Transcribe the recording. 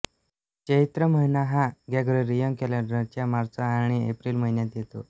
चैत्र महिना हा ग्रेगोरियन कॅलेंडरच्या मार्च आणि एप्रिल महिन्यांत येतो